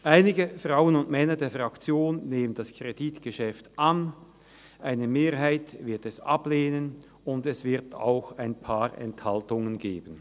Einige Frauen und Männer der Fraktion nehmen das Kreditgeschäft an, eine Mehrheit wird es ablehnen, und es wird auch ein paar Enthaltungen geben.